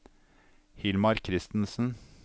Hilmar Christensen